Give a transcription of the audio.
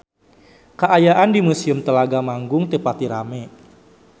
Kaayaan di Museum Telaga Manggung teu pati rame